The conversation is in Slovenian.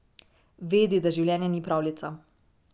Vedi, da življenje ni pravljica.